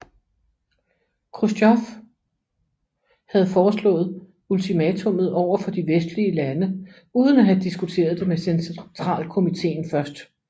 Khrusjtjov havde foreslået ultimatummet overfor de vestlige lande uden at have diskuteret det med Centralkomittéen først